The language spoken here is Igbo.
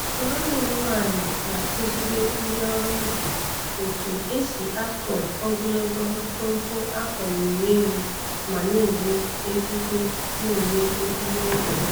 Nwanne m nwanyị na-akụzịrị ndị ọrụ ubi otu e si akọ ogologo mkpumkpu a kọliri elu ma na-eri ezigbo na-eri ezigbo ego.